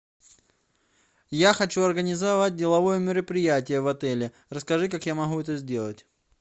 я хочу организовать деловое мероприятие в отеле расскажи как я могу это сделать